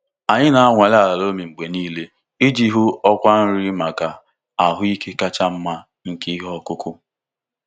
Anyị na-anwale ala loamy mgbe niile iji hụ ọkwa nri maka ahụ ike kacha mma nke ihe ọkụkụ.